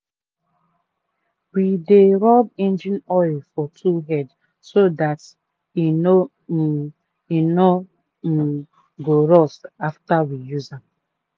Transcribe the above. we dey rub engine oil for tool head so dat e no um e no um go rust after we use am.